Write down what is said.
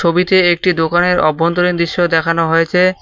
ছবিতে একটি দোকানের অভ্যন্তরীণ দৃশ্য দেখানো হয়েছে।